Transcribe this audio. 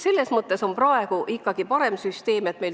Selles mõttes on praegu välja käidud ikkagi parem süsteem.